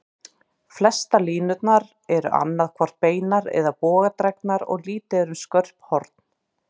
Flestar línurnar eru annað hvort beinar eða bogadregnar, og lítið er um skörp horn.